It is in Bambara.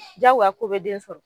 jagoya ko be den sɔrɔ